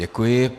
Děkuji.